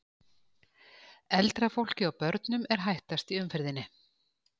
Eldra fólki og börnum er hættast í umferðinni.